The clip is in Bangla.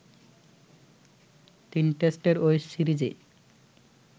তিন টেস্টের ওই সিরিজে